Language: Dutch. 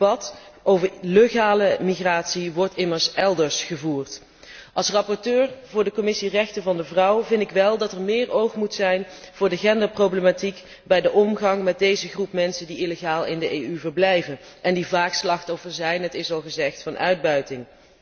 Het debat over legale migratie wordt immers elders gevoerd. Als rapporteur voor de Commissie rechten van de vrouw vind ik wel dat er meer oog moet zijn voor de genderproblematiek bij de omgang met deze groep mensen die illegaal in de Europese Unie verblijven en die vaak slachtoffer zijn het is al gezegd van uitbuiting.